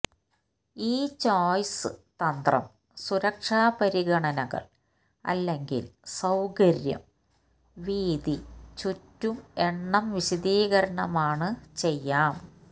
ഈ ചോയ്സ് തന്ത്രം സുരക്ഷാ പരിഗണനകൾ അല്ലെങ്കിൽ സൌകര്യം വീതി ചുറ്റും എണ്ണം വിശദീകരണമാണ് ചെയ്യാം